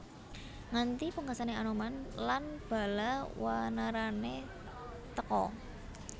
Nganti pungkasane Anoman lan bala wanarane teka